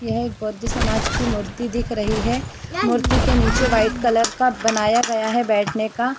यह एक बौद्ध समाज की मूर्ति दिख रही है मूर्ति के नीचे वाइट कलर का बनाया गया है बैठने का --